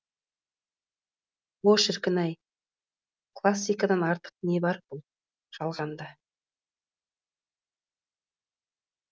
о шіркін ай классикадан артық не бар бұл жалғанда